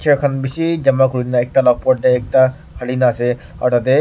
kan bishi jama kurina ekta la upor de ekta halina ase aro tate.